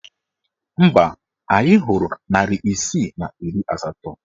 Mba, anyị hụrụ narị isii na iri asatọ.